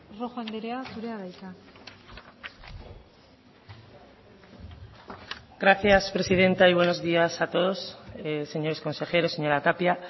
rojo andrea zurea da hitza gracias presidenta y buenos días a todos señores consejeros señora tapia